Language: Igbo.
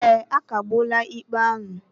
Ee, a kagbuola ikpe ahụ